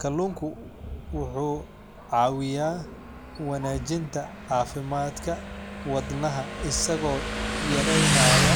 Kalluunku wuxuu caawiyaa wanaajinta caafimaadka wadnaha isagoo yareynaya